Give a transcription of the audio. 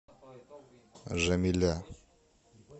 жамиля